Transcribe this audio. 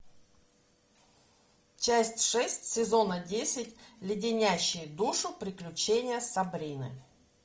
часть шесть сезона десять леденящие душу приключения сабрины